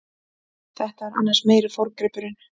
Þetta er annars meiri forngripurinn.